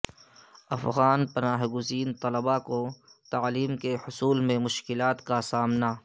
افغان پناہ گزین طلبا کو تعلیم کے حصول میں مشکلات کا سامنا